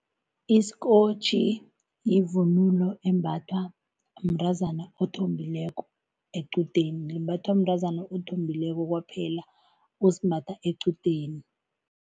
Isikotjhi yivunulo embathwa mntazana othombileko equdeni. Limbathwa mntazana othombileko kwaphela osimbatha equdeni.